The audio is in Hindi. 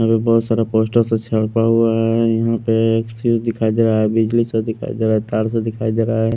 यहाँ से बहुत सारा पोस्टर छापा हुआ है यहाँ पे दिखाई दे रहा है बिजली सा दिखाई दे रहा है तार सा दिखाई दे रहा है।